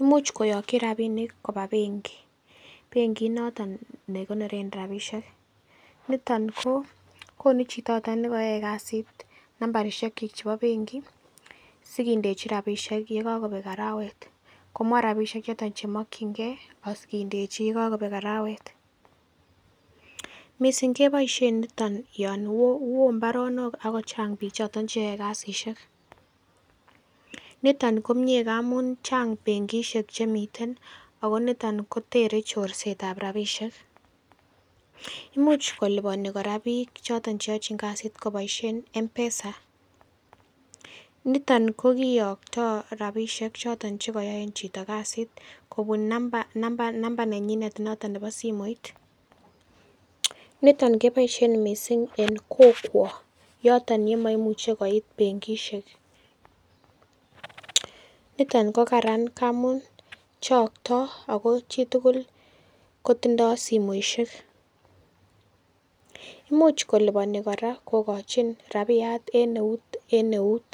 Imuch koyokyi rabinik koba benki. Benkit noton nekonoren rabisiek, niton ko konu chito nekeyoe kasit nambarisiekyik chebo benki sikindechi rabisiek yon kokobek arawet. Komwa rabisiek choton chemokyingei asikindechi iyekokobek arawet. Missing' keboisien noton yon wo mbaronok ak kochang' bichoton cheyoe kasisiek niton komie amun chang' benkisiek chemiten ak niton kotere chorsetab rabisiek. Imuch koliponi kora biik choton cheyochin kasit koboisien Mpesa . Niton kokiyokto rabisiek choton chekoyoen chito kasit kobun number number number nenyinet nebo simoit. Niton keboisien missing' en kokwo yoton yemoimuche koit benkisiek. Niton kokaran ngamun chokto ago chitugul kotindo simoisiek. Imuch koliponi kora kokochin rabiyat en neut en neut.